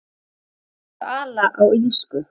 En þau ala á illsku.